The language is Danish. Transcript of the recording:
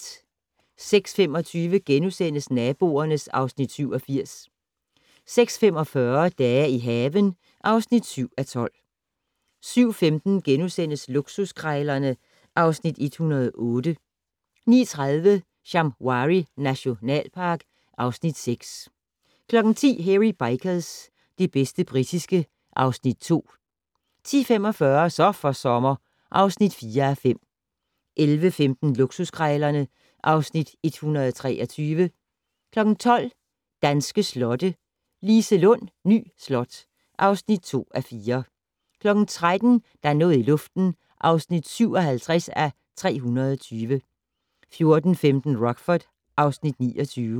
06:25: Naboerne (Afs. 87)* 06:45: Dage i haven (7:12) 07:15: Luksuskrejlerne (Afs. 108)* 09:30: Shamwari nationalpark (Afs. 6) 10:00: Hairy Bikers - det bedste britiske (Afs. 2) 10:45: Så for sommer (4:5) 11:15: Luksuskrejlerne (Afs. 123) 12:00: Danske slotte - Liselund Ny Slot (2:4) 13:00: Der er noget i luften (57:320) 14:15: Rockford (Afs. 29)